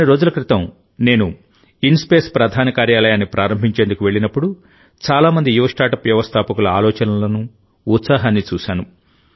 కొన్ని రోజుల క్రితం నేను ఇన్స్పేస్ ప్రధాన కార్యాలయాన్ని ప్రారంభించేందుకు వెళ్ళినప్పుడుచాలా మంది యువ స్టార్టప్ వ్యవస్థాపకుల ఆలోచనలను ఉత్సాహాన్ని చూశాను